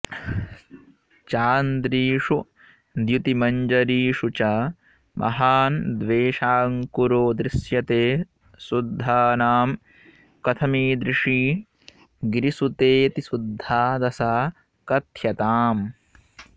चान्द्रीषु द्युतिमञ्जरीषु च महान्द्वेषाङ्कुरो दृश्यते शुद्धानां कथमीदृशी गिरिसुतेऽतिशुद्धा दशा कथ्यताम्